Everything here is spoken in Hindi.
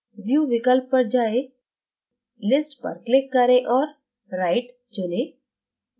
view विकल्प पर जाएँ list पर click करें और right चुनें